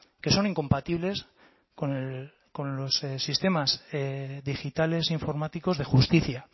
que son incompatibles con los sistemas digitales informáticos de justicia